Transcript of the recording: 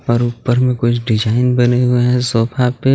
और ऊपर में कुछ डिजाइन बने हुए हैं सोफा पे.